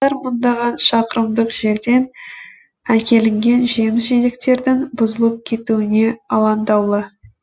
мыңдаған шақырымдық жерден әкелінген жеміс жидектердің бұзылып кетуіне алаңдаулы